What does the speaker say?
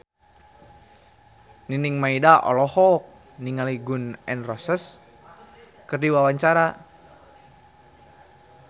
Nining Meida olohok ningali Gun N Roses keur diwawancara